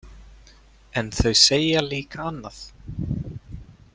En þau segja líka annað.